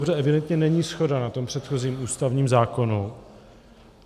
Protože evidentně není shoda na tom předchozím ústavním zákonu.